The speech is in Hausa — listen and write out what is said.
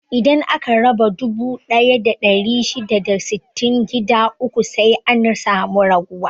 Idan aka raba dubu ɗaya da ɗari shida da sittin gida uku sai an samu ragowa.